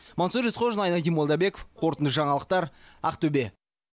мансұр есқожин айнадин молдабеков қорытынды жаңалықтар ақтөбе